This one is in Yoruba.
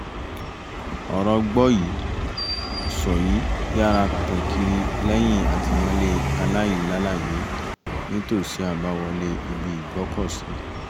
ọ̀rọ̀ gbọ́yìí sọ́yìí yára tàn kiri lẹ́yìn àtìmọ́lé aláìlàláyèé nítòsí àbáwọlé ibi ìgbọ́kọ̀sí